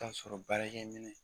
O y'a sɔrɔ baarakɛ minɛ.